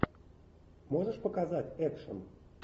можешь показать экшн